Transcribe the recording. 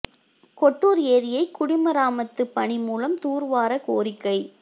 கெட்டூா் ஏரியை குடிமராமத்துப் பணி மூலம் தூா்வார கோரிக்கை